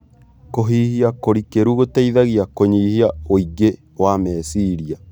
Kũhihia kũrikĩru gũteithagia kũnyihia wĩingĩ wa meciria